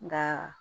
Nka